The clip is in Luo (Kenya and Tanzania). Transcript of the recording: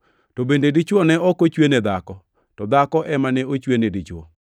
To bende, dichwo ne ok ochwe ne dhako, to dhako ema ne ochwe ni dichwo.